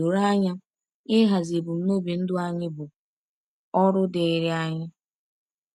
Doro anya, ịhazi ebumnobi ndụ anyị bụ ọrụ dịịrị anyị.